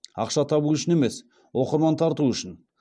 ақша табу үшін емес оқырман тарту үшін